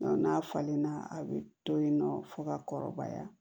N'a falenna a bɛ to yen nɔ fo ka kɔrɔbaya